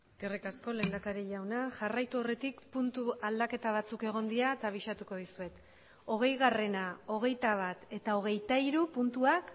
eskerrik asko lehendakari jauna jarraitu aurretik puntu aldaketa batzuk egon dira eta abisatuko dizuet hogeigarrena hogeitabat eta hogeitahiru puntuak